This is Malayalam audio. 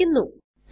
എന്ന് കാണിക്കുന്നു